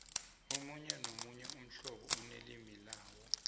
omunye nomunye umhlobo unelimu lawo